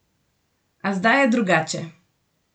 A zdaj je drugače!